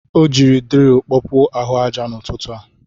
O ji dril kpọpuo ahụ aja n'ụtụtụ a.